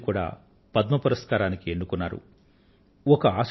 వారిని కూడా పద్మ పురస్కారానికి ఎన్నుకోవడమైంది